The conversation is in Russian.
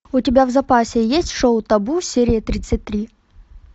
у тебя в запасе есть шоу табу серия тридцать три